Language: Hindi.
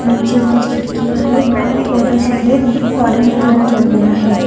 नीचे कुछ खिड़कियां है और थोड़ा से में ऑरेंज कलर किया गया है।